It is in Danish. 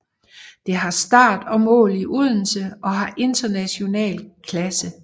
Det har start og mål i Odense og har international klasse